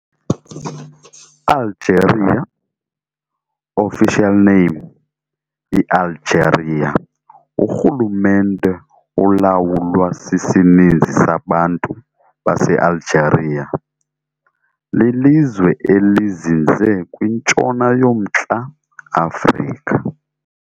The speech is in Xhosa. Algeria, official name, I-Algeria urhulumente olawulwa sisininzi sabantu base-Algeria lilizwe elizinze kwintshona yomNtla-Afrika.